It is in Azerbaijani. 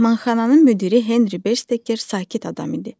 Mehmanxananın müdiri Henri Bersteker sakit adam idi.